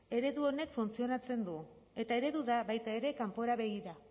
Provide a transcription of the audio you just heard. eredu honek funtzionatzen du eta eredu da baita ere kanpora begira